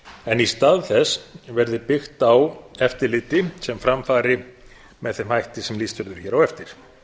en í stað þess verði byggt á eftirliti sem fram fari með þeim hætti sem lýst verður hér á eftir